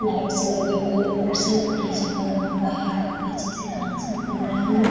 Lights लगी हुई है । ऊपर से डी.जे. बना हुआ है । काफी अच्छे से डांसिंग कर रहे है ।